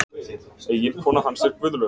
Eiginkona hans er Guðlaug